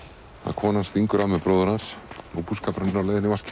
konan stingur af með bróður hans og búskapurinn á leið í vaskinn